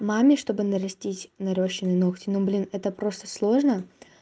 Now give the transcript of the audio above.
маме чтобы нарастить нарощенные ногти ну блин это просто сложно